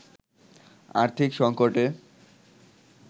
আর্থিক সঙ্কটে